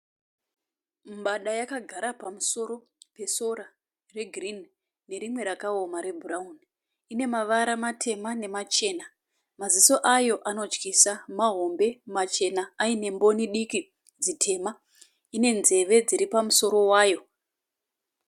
Mbada yakagara pamusoro pesora regirini nerimwe rakaoma rebhurauni. Ine mavara matema nemachena